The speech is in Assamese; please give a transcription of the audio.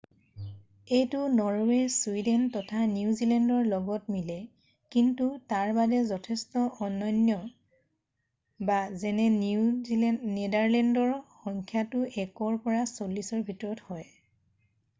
"এইটো নৰৱে চুইডেন তথা নিউজেলেণ্ডৰ লগত মিলে কিন্তু তাৰবাদে যথেষ্ট অনন্য যেনে নেডাৰলেণ্ডত সংখ্যাটো 1ৰ পৰা চল্লিশৰ ভিতৰত হয়""